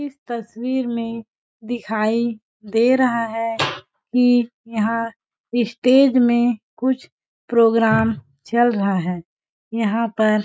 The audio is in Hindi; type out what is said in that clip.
इस तस्वीर में दिखाई दे रहा है कि यहाँ स्टेज में कुछ प्रोग्राम चल रहा है यहाँ पर --